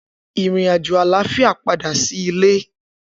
Irin-ajo àlàáfíà pada si ilé